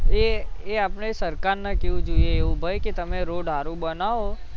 એ એ આપણે સરકારને કેવું જોઈએ એવું ભૈ કે તમે હારો બનાવો